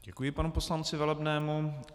Děkuji panu poslanci Velebnému.